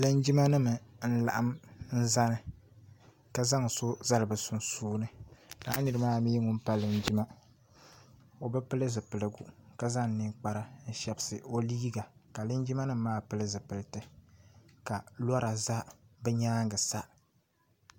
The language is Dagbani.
Linjima nima n laɣim nzani ka zaŋ so zali bi sunsuuni lala niri maa mi ŋuni pa Linjima o bi pili zipiligu ka zaŋ ninkpara n shɛbsi o liiga ka Linjima nima maa pili zipiliti ka lɛra za bi yɛanga sa.